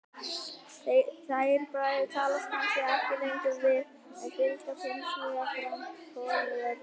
Þeir bræður talast kannski ekki lengur við, en fylgjast hinsvegar grannt hvor með öðrum.